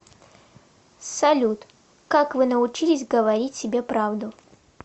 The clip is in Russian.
салют как вы научились говорить себе правду